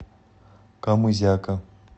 камызяка